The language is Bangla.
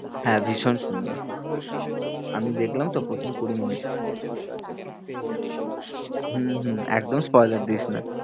হ্যাঁ, ভীষণ সুন্দর আমি দেখলাম তো প্রথম কুড়ি minutes হম হম একদম দিস না।